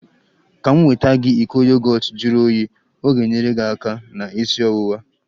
Ka m nweta gị iko yogọt juru oyii, ọ ga-enyere aka na isi ọwụwa